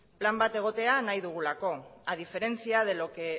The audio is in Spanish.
plan bat egotea nahi dugulako a diferencia de lo que